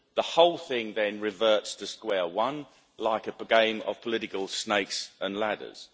The whole thing then reverts to square one, like a game of political snakes and ladders.